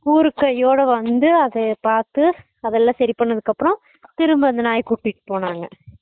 கூர் கு கை யோட வந்து அதைய பாத்து அதெல்லாம் சரி பண்ணதுக்கு அப்பறம் திரும்ப அந்த நாய் யா கூட்டிட்டு போனாங்க